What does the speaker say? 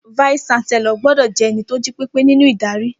Fàísí ṣàsẹló gbòdọ jẹ̀ ẹní tó jípẹpẹ ninu Ìdárì.